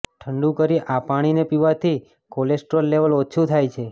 ઠંડુ કરી આ પાણીને પીવાથી કોલેસ્ટ્રોલ લેવલ ઓછુ થાય છે